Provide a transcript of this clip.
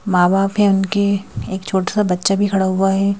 मां-बाप है उनके एक छोटा सा बच्चा भी खड़ा हुआ है।